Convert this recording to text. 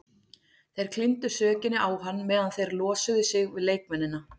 Þeir klíndu sökinni á hann meðan þeir losuðu sig við leikmennina.